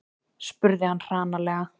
spurði hann hranalega.